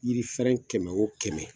Yiri fɛrɛn kɛmɛ o kɛmɛ